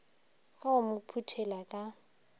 ka go mo phuthela ka